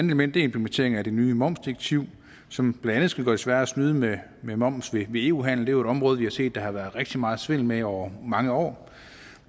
element er implementering af det nye momsdirektiv som blandt andet skal gøre det sværere at snyde med med moms ved eu handel det er jo et område vi har set der har været rigtig meget svindel med over mange år